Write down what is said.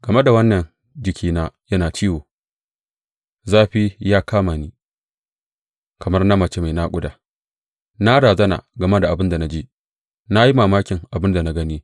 Game da wannan jikina yana ciwo, zafi ya kama ni, kamar na mace mai naƙuda; na razana game da abin da na ji, na yi mamakin abin da na gani.